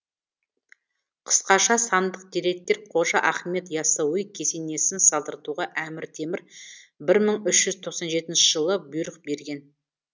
қысқаша сандық деректер қожа ахмет и ассауи кесенесін салдыртуға әмір темір бір мың үш жүз тоқсан жетінші жылы бұйрық берген